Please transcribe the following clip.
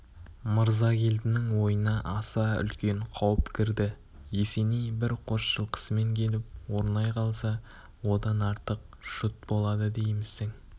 мырзагелдінің ойына аса үлкен қауіп кірді есеней бір қос жылқысымен келіп орнай қалса одан артық жұт болады деймісің